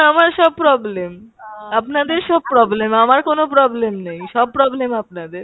আমার সব problem। আপনাদের সব problem আমার কোনো problem নেই, সব problem আপনাদের।